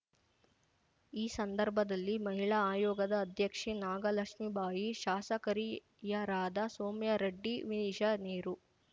ಈ ಸಂದರ್ಭದಲ್ಲಿ ಮಹಿಳಾ ಆಯೋಗದ ಅಧ್ಯಕ್ಷೆ ನಾಗಲಕ್ಷ್ಮಿಬಾಯಿ ಶಾಸಕರಿಯರಾದ ಸೌಮ್ಯಾರೆಡ್ಡಿ ವಿನಿಷಾ ನೀರು